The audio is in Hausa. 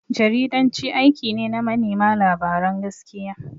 Jaridanci aiki ne na manema labaran gaskiya.